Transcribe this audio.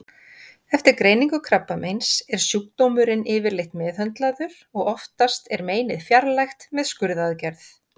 Eftir greiningu krabbameins er sjúkdómurinn yfirleitt meðhöndlaður og oftast er meinið fjarlægt með skurðaðgerð.